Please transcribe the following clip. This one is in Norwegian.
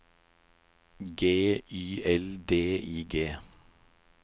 G Y L D I G